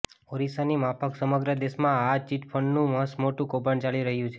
ઓરિસ્સાની માફક સમગ્ર દેશમાં આ ચીટફંડનું મસ મોટું કૌભાંડ ચાલી રહ્યું છે